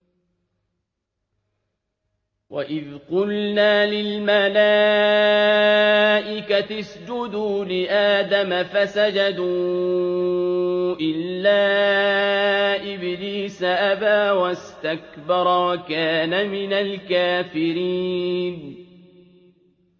وَإِذْ قُلْنَا لِلْمَلَائِكَةِ اسْجُدُوا لِآدَمَ فَسَجَدُوا إِلَّا إِبْلِيسَ أَبَىٰ وَاسْتَكْبَرَ وَكَانَ مِنَ الْكَافِرِينَ